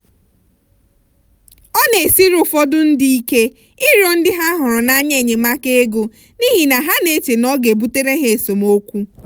ọ na-esiri ụfọdụ ndị ike ịrịọ ndị ha hụrụ n'anya enyemaka ego n'ihi na ha na-eche na ọ ga-ebutere ha esemokwu.